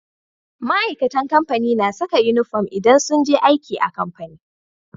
Ma'aikatan kamfani na Saka inufom idan sunje aiki a kamfani